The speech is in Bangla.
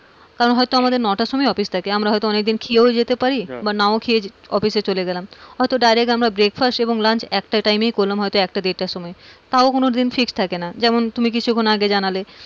কারণ হয়তো আমাদের নটার সময় অফিস থাকে, আমরা হয়তো অনেকে খেয়েও যেতে পারি বা নাও খেয়ে অফিস এ চলে গেলাম, হয়তো direct আমরা breckfast এবং lunch একটা time এই তাও কোনোদিন fixed থাকে না, যেমন তুমি কিছুক্ষন আগে জানালে,